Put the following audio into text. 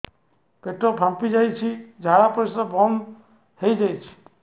ପେଟ ଫାମ୍ପି ଯାଇଛି ଝାଡ଼ା ପରିସ୍ରା ବନ୍ଦ ହେଇଯାଇଛି